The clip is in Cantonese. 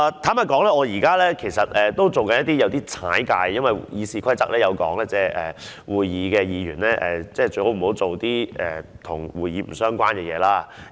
坦白說，我現在有點"越界"的，因為《議事規則》規定，會議時，議員不要做一些跟會議不相關的事情。